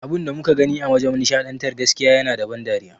Abunda muka gani a wajan nishaɗantar gaskiya yana da ban dariya